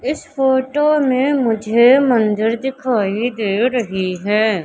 इस फोटो में मुझे मंदिर दिखाई दे रही है।